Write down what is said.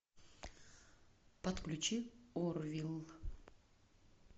подключи орвилл